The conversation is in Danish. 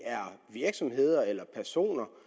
så